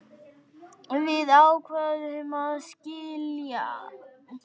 Við ákváðum að skilja.